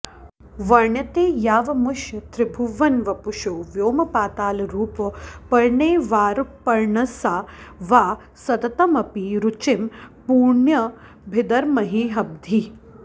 वर्ण्येते यावमुष्य त्रिभुवनवपुषो व्योमपातालरूपौ पर्णैर्वाऽप्यर्णसा वा सततमपि रुचिं पूर्णयद्भिर्महद्भिः